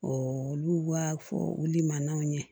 olu b'a fɔ olu man ɲɛ